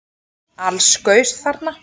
Alls gaus þarna